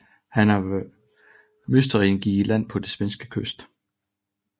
Mytteristerne gik i land på den svenske kyst